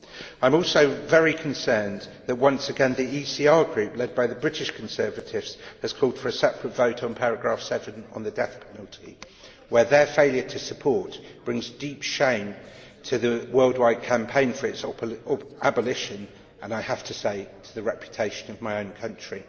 I am also very concerned that once again the ECR Group, led by the British Conservatives, has called for a separate vote on paragraph7 on the death penalty, where their failure to support brings deep shame to the worldwide campaign for its abolition and, I have to say, to the reputation of my own country.